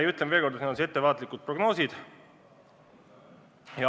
Ja ütlen veel kord, et need on ettevaatlikud prognoosid.